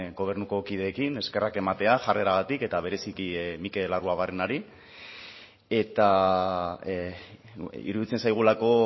gobernuko kideekin eskerrak ematea jarreragatik eta bereziki mikel arruabarrenari eta iruditzen zaigulako